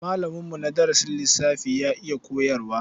Malaminmu na darasin lissafi ya iya koyarwa.